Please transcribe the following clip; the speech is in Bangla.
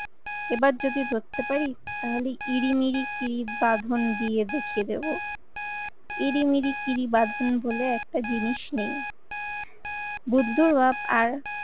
এবার যদি ধরতে পারি তাহলে ইরিমিরি কিরি বাঁধন দিয়ে রেখে দেবো। ইরিমিরি কিরি বাঁধন বলে একটা জিনিস নেই বুদ্ধর বাপ